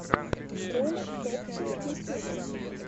ролик топси ютьюб